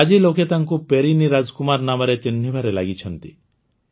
ଆଜି ଲୋକେ ତାଙ୍କୁ ପେରିନି ରାଜକୁମାର ନାମରେ ଚିହ୍ନିବାରେ ଲାଗିଛନ୍ତି